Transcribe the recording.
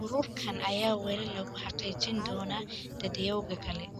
Ururkan ayaa weli lagu xaqiijin doonaa dadyowga kale.